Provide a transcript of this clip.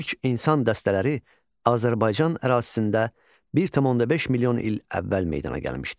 İlk insan dəstələri Azərbaycan ərazisində 1,5 milyon il əvvəl meydana gəlmişdir.